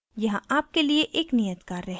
यहाँ आपके लिए एक नियत कार्य है